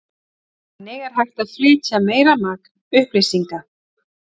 Þannig er hægt að flytja meira magn upplýsinga.